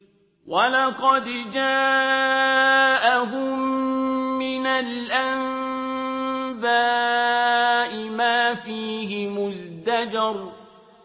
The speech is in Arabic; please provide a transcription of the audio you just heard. وَلَقَدْ جَاءَهُم مِّنَ الْأَنبَاءِ مَا فِيهِ مُزْدَجَرٌ